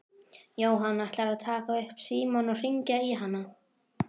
Jóhann: Ætlarðu að taka upp símann og hringja í hana?